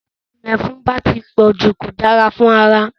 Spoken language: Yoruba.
Tí ìyẹ̀fun bá ti pọ̀jù kò dára fún ara